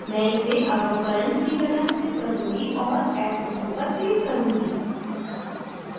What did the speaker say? मैं इसे above current की तरह स्थित करुँगी और add button पर click करुँगी